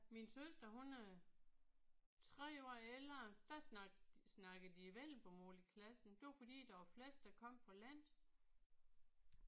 Min søster hun øh 3 år ældre der snakkede de snakkede de vendelbomål i klassen. Det var fordi der var flest der kom fra landet